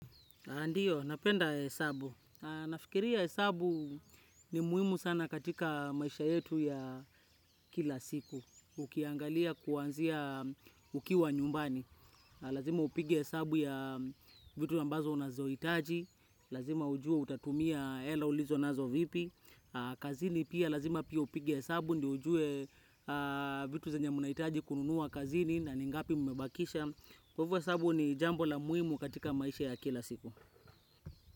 Ndio, napenda hesabu. Nafikiria hesabu ni muhimu sana katika maisha yetu ya kila siku. Ukiangalia kuanzia ukiwa nyumbani. Lazima upigia hesabu ya vitu ambazo unazohitaji. Lazima ujua utatumia hela ulizonazo vipi. Kazini pia, lazima pia upige hesabu, ndio ujue vitu zenye mnahitaji kununua kazini na ningapi mmebakisha. Kwa hivo hesabu ni jambo la muhimu katika maisha ya kila siku.